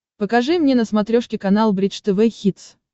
покажи мне на смотрешке канал бридж тв хитс